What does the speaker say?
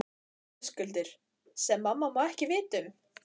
Höskuldur: Sem mamma má ekki vita um?